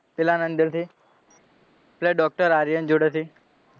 પેલા અંદરથી પેલા ડોક્ટર આર્યન જોડેથી